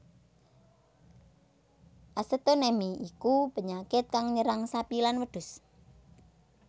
Acetonemi iku penyakit kang nyerang sapi lan wedhus